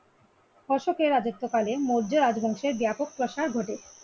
অশোকের রাজত্বকালে মৌর্য রাজবংশের ব্যাপক প্রসার ঘটে।